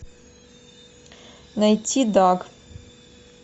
найти даг